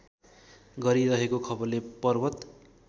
गरिरहेको खबरले पर्वत